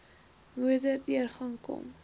motor deurgang kon